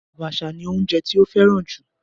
Abacha ni oúnjẹ tí ó fẹ́ràn jù.